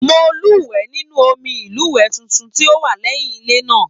Mo luwẹ̀ nínú omí ilúwẹ títún tí o wà lẹyìn ilé náà.